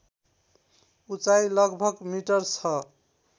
उचाइ लगभग मिटर छ